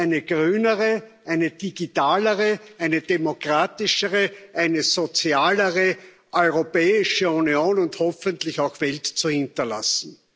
eine grünere, eine digitalere, eine demokratischere, eine sozialere Europäische Union und hoffentlich auch Welt zu hinterlassen.